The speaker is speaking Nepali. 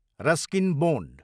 Ruskin bond